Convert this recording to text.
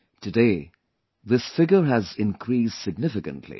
Today this figure has increased significantly